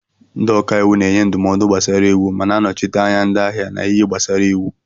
Ndị ọka iwu na-enye ndụmọdụ gbasara iwu ma na-anọchite anya ndị ahịa n'ihe gbasara iwu.